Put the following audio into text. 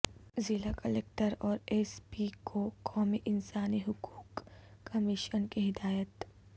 ضلع کلکٹر اور S P کو قومی انسانی حقوق کمیشن کی ہدایت